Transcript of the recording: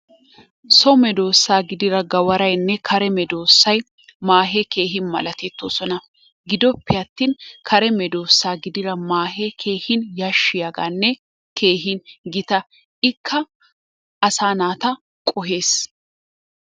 So medoosaa gidiya gawaraynne kare medoosay maahee keehi malatettoosona. Giddoppe attin kare medoosaa gididda maaahee keehin yashiyagaanne keehin gita ikka asaa naata qohees.